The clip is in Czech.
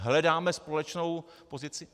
Hledáme společnou pozici?